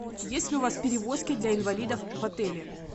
есть ли у вас перевозки для инвалидов в отеле